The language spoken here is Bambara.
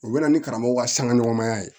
U bɛ na ni karamɔgɔ ka sanga ɲɔgɔnya ye